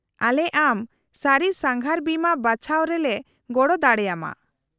-ᱟᱞᱮ ᱟᱢ ᱥᱟᱹᱨᱤ ᱥᱟᱸᱜᱷᱟᱨ ᱵᱤᱢᱟᱹ ᱵᱟᱪᱷᱟᱣ ᱨᱮᱞᱮ ᱜᱚᱲᱚ ᱫᱟᱲᱮ ᱟᱢᱟ ᱾